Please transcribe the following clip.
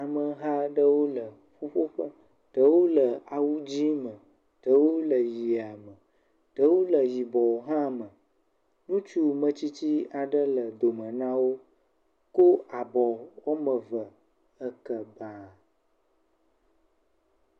Ameha aɖewo le ƒuƒoƒe. Ɖewo le awu dzɛ me, ɖewo ɣie me, ɖewo le yibɔ hã me. Ŋutsu metsitsi aɖe le dome nawò. Wokɔ abɔ woame eve le ekɔta